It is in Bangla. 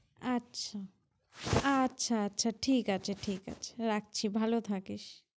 আচ্ছা, আচ্ছা আচ্ছা ঠিক আছে, ঠিক আছে। রাখছি, ভালো থাকিস।